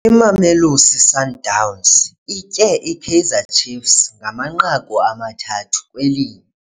Imamelosi Sundowns itye iKaizer Chiefs ngamanqaku amathathu kwelinye.